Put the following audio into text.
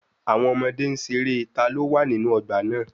Àwọn ọmọdé n ṣe eré "ta ló wà nínú ọgbà náà"